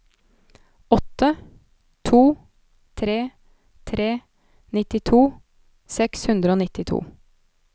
åtte to tre tre nittito seks hundre og nittito